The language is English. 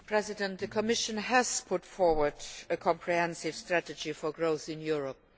Mr President, the Commission has put forward a comprehensive strategy for growth in Europe.